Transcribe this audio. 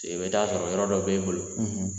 I bɛ taa sɔrɔ yɔrɔ dɔ b'e bolo